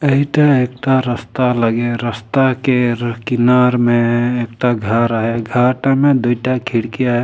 इटा एक ता रस्ता लगे हे रस्ता केर किनार में एक ता घर है घर टा में दुइटा खिड़किया है।